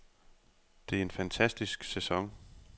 Det er en fantastisk sæson.